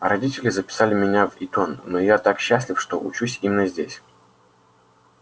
родители записали меня в итон но я так счастлив что учусь именно здесь